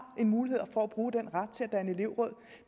en mulighed for at bruge den ret til at danne elevråd